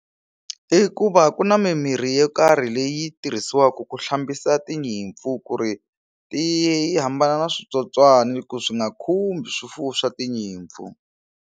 I ku va ku na mimirhi yo karhi leyi tirhisiwaka ku hlambisa tinyimpfu ku ri ti yi hambana na switsotswani ku swi nga khumbi swifuwo swa tinyimpfu.